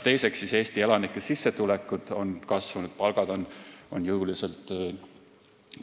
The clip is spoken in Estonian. Ka Eesti elanike sissetulekud on kasvanud, palgad on jõuliselt